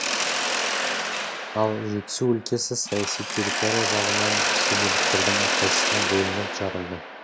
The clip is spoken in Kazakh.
ал жетісу өлкесі саяси территория жағынан осы иеліктердің әрқайсысына бөлініп жарылды